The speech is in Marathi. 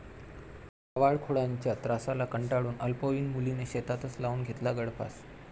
टवाळखोरांच्या त्रासाला कंटाळून अल्पवयीन मुलीने शेतातच लावून घेतला गळफास